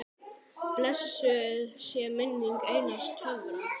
Blessuð sé minning Einars Tjörva.